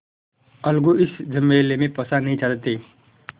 अलगू इस झमेले में फँसना नहीं चाहते थे